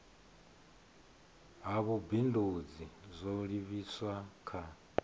ha vhubindudzi zwo livhiswa kha